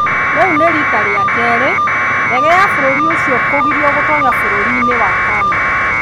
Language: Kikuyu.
Rĩu nĩ riita rĩa kerĩ ndege ya bũrũri ũcio kũgirio gũtoonya bũrũri-inĩ wa Canada.